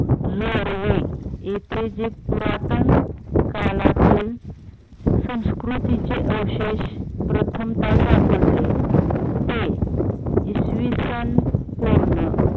इथे जे पुरातन काळातील संस्कृतीचे अवशेष प्रथमतः सापडले ते इसवि सन पूर्ण